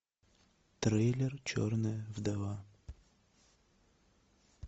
трейлер черная вдова